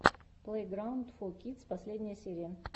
плейграунд фо кидс последняя серия